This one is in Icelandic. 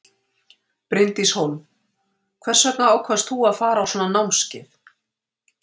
Bryndís Hólm: Hvers vegna ákvaðst þú að fara á svona námskeið?